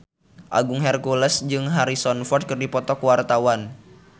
Agung Hercules jeung Harrison Ford keur dipoto ku wartawan